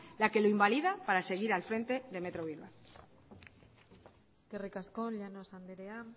la que lo invalida para seguir al frente de metro bilbao eskerrik asko llanos anderea